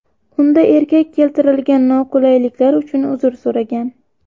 Unda erkak keltirilgan noqulayliklar uchun uzr so‘ragan.